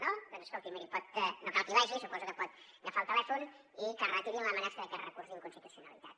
no escolti miri no cal que hi vagi suposo que pot agafar el telèfon i que retirin l’amenaça d’aquest recurs d’inconstitucionalitat